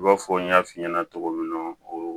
I b'a fɔ n y'a f'i ɲɛna cogo min na o